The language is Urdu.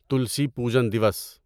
تلسی پوجن دیوس